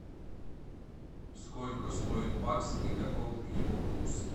сколько стоит бакс и каков его курс